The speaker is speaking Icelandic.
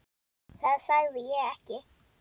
Það sagði ég ekki